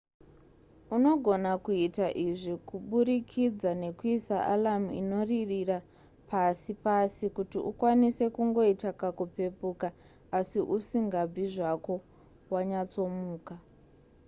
unogona kuita izvi kuburikidza nekuisa alarm inoririra pasi pasi kuti ukwanise kungoita kakupepuka asi usingabvi zvako wanyatsomuka